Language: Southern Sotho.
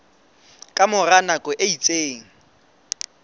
ka mora nako e itseng